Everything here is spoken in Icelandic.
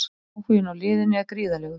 Áhuginn á liðinu er gríðarlegur.